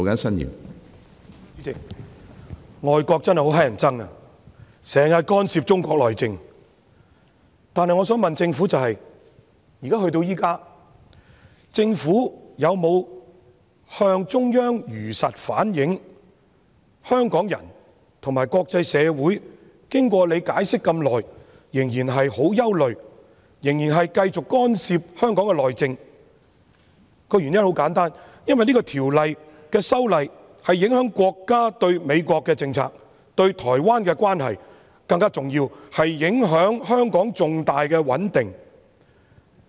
主席，外國真的很討厭，經常干涉中國內政，但我想問政府，至今政府有否向中央如實反映，香港人和國際社會經過局長這麼長時間解釋後，仍然很憂慮，仍然繼續干涉香港內政。原因十分簡單，因為這項《條例草案》的修訂影響國家對美國的政策、對台灣的關係，更重要的是影響香港重大的穩定。